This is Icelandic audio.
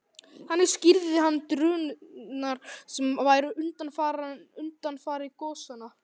Þannig skýrði hann drunurnar sem væru undanfari gosanna.